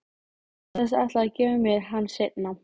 Hann sagðist ætla að gefa mér hann seinna.